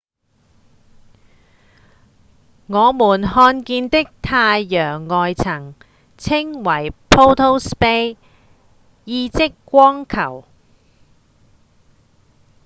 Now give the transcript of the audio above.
我們看見的太陽外層稱為「photosphere」意即「光球」